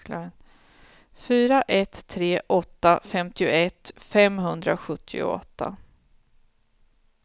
fyra ett tre åtta femtioett femhundrasjuttioåtta